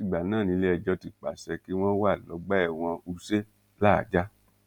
látìgbà náà niléẹjọ́ ti pàṣẹ kí wọ́n wà lọ́gbà ẹ̀wọ̀n wúse láàájá